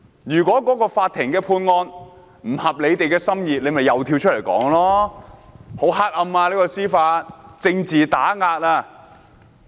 如果法院的判決不合他們心意，他們又會跳出來說司法黑暗，政治打壓。